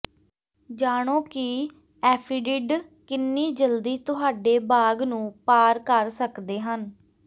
ਜਾਣੋ ਕਿ ਐਫੀਡਿਡ ਕਿੰਨੀ ਜਲਦੀ ਤੁਹਾਡੇ ਬਾਗ਼ ਨੂੰ ਪਾਰ ਕਰ ਸਕਦੇ ਹਨ